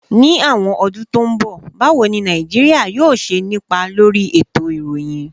Ní àwọn ọdún tó ń bọ̀, báwo ni Nàìjíríà yóò ṣe nípa lórí ètò ìròyìn?